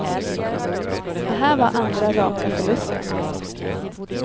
Det här var andra raka förlusten.